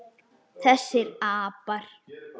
Þessir apar!